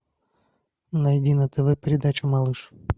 найди на тв передачу малыш